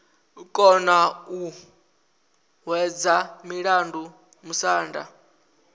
kona u hwedza mulandu musanda